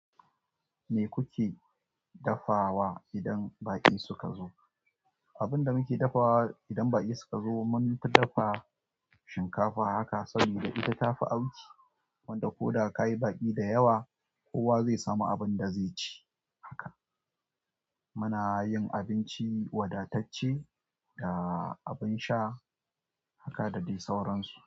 Me kuke dafawa idan baƙi suka zo? Abun da muke dafawa idan baƙi suka zo, mun fi dafa shinkafa haka saboda ita ta fi auki, wanda ko da ka yi baƙi da yawa, kowa zai samu abin da zai ci haka. Muna yin abinci wadatacce da abin sha haka da dai sauransu.